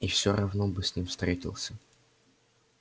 и всё равно бы с ним встретился